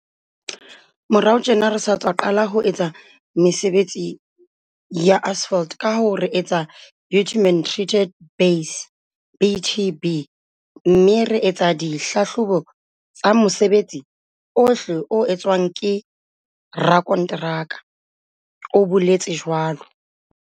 "Morao tjena re sa tswa qala ho etsa mesebetsi ya asphalt kahoo re etsa bitumen treated base, BTB, mme re etsa di hlahlobo tsa mosebetsi ohle o entsweng ke rakonteraka," o boletse jwalo.